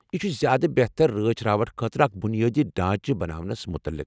یہِ چُھ زیٛادٕ بہتر رٲچھ راوٹھٕ خٲطرٕ اکھ بنیٲدی ڈھانچہٕ بناونس مُتعلق ۔